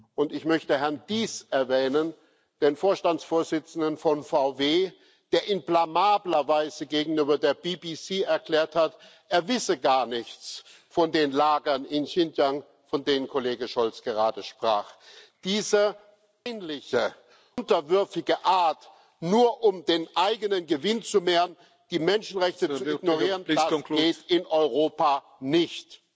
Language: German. Und ich möchte Herrn Diess erwähnen, den Vorstandsvorsitzenden von VW, der in blamabler Weise gegenüber der BBC erklärt hat, er wisse gar nichts von den Lagern in Xinjiang, von denen Kollegen Scholz gerade sprach. Diese peinliche, unterwürfige Art, nur um den eigenen Gewinn zu mehren, die Menschenrechte zu ignorieren das geht in Europa nicht!